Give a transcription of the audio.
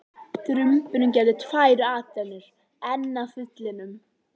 Drumburinn gerði tvær atrennur enn að þilinu.